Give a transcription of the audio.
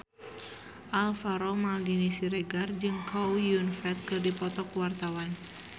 Alvaro Maldini Siregar jeung Chow Yun Fat keur dipoto ku wartawan